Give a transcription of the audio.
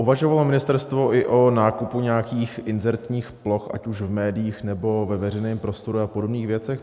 Uvažovalo ministerstvo i o nákupu nějakých inzertních ploch, ať už v médiích, nebo ve veřejném prostoru, a podobných věcech?